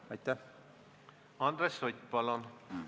Andres Sutt, palun!